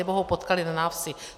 Anebo ho potkaly na návsi.